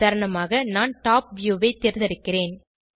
உதாரணமாக நான் top view ஐ தேர்ந்தெடுக்கிறேன்